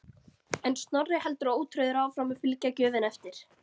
En Snorri heldur ótrauður áfram að fylgja gjöfinni eftir.